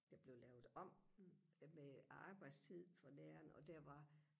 der blev lavet om med arbejdstid for læreren og der var